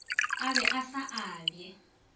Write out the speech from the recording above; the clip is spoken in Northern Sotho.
a be a sa abje